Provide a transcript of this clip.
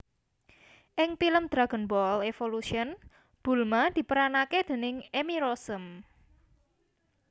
Ing pilem Dragonball Evolution Bulma diperanake déning Emmy Rossum